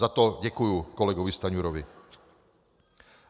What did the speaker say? Za to děkuji kolegovi Stanjurovi.